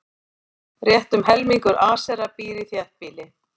Rétt um helmingur Asera býr í þéttbýli.